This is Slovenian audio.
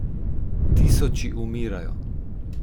Tisoči umirajo.